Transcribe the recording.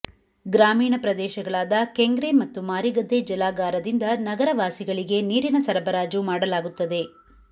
ಗ್ರಾಮೀಣ ಪ್ರದೇಶಗಳಾದ ಕೆಂಗ್ರೆ ಮತ್ತು ಮಾರಿಗದ್ದೆ ಜಲಾಗಾರದಿಂದ ನಗರವಾಸಿಗಳಿಗೆ ನೀರಿನ ಸರಬರಾಜು ಮಾಡಲಾಗುತ್ತದೆ